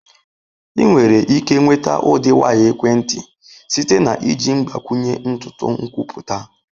Ị nwere ike nweta ụdị waya ekwentị site na iji mgbakwunye ntutu nkwupụta.